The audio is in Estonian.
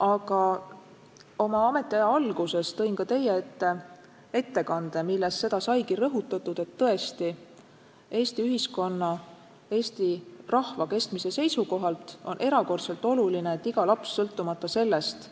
Aga oma ametiaja alguses tõin ma ka teie ette ettekande, milles seda saigi rõhutatud, et Eesti ühiskonna, Eesti rahva kestmise seisukohalt on erakordselt oluline, et iga laps sõltumata sellest,